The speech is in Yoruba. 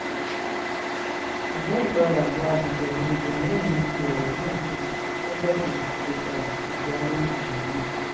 ṣùgbọ́n ìpadàbọ̀ ábíjà ni ibrahim fi ọ̀rọ̀ náà ṣe lọ́jọ́ kejì tó padà sí gárẹ́ẹ̀jì náà